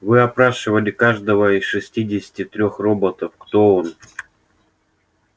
вы опрашивали каждого из шестидесяти трёх роботов кто он